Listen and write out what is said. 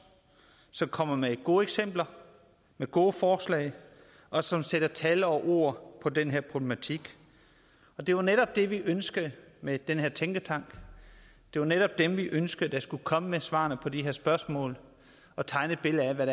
som kommer med gode eksempler med gode forslag og som sætter tal og ord på den her problematik det var netop det vi ønskede med den her tænketank det var netop dem vi ønskede skulle komme med svarene på de her spørgsmål og tegne et billede af hvad